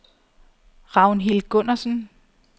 Ragnhild Gundersen